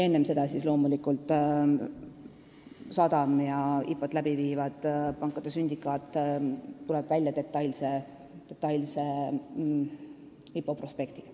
Enne seda aga tulevad sadam ja IPO-t läbi viiv pankade sündikaat loomulikult välja detailse IPO prospektiga.